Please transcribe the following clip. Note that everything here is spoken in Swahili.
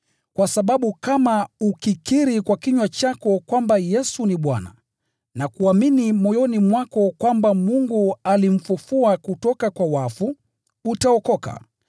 Kwa sababu kama ukikiri kwa kinywa chako kwamba “Yesu ni Bwana,” na kuamini moyoni mwako kwamba Mungu alimfufua kutoka kwa wafu, utaokoka.